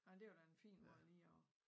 Nej det var da en fin måde lige at